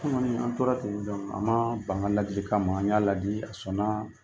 Kununnasini an tora ten donc a maa ban n ka laadilikan ma n y'a laadi a sɔnna